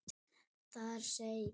Þar segir: